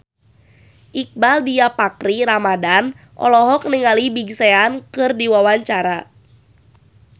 Iqbaal Dhiafakhri Ramadhan olohok ningali Big Sean keur diwawancara